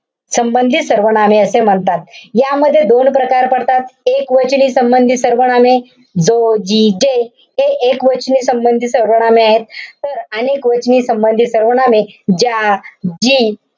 संबंधी सर्वनामे असे म्हणतात. यामध्ये दोन प्रकार पडतात. एकवचनी संबंधी सर्वनामे, जो, जी, जे. हे एकवचनी संबंधी सर्वनामे आहेत. तर अनेकवचनी संबंधी सर्वनामे ज्या, जी,